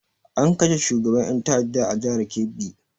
An kashe shugaban ƴan ta'adda a jihar kebbi.